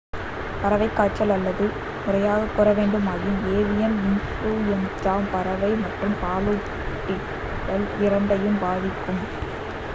பறவைக் காய்ச்சல் அல்லது முறையாகக் கூறவேண்டுமாயின் ஏவியன் இன்ஃப்லூயன்ஃஜா பறவை மற்றும் பாலூட்டிகாள் இராண்டையும் பாதிக்கும்